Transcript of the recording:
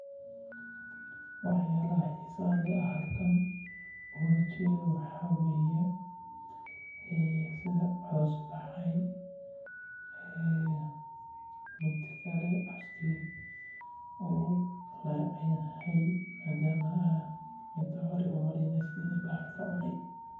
Wax yaabaha xiisaha leh aan halkan ooga jeedo waxa waye sida coos baxay cooska wuu kayacanyaha madaama inta hore uu bahal kacune.